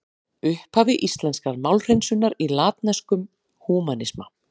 Upphaf íslenskrar málhreinsunar í latneskum húmanisma.